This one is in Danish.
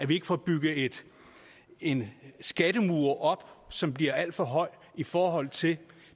vi ikke får bygget en skattemur op som bliver alt for høj i forhold til